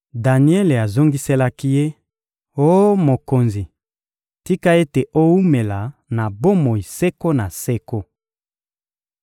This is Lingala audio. Daniele azongiselaki ye: — Oh mokonzi, tika ete owumela na bomoi seko na seko!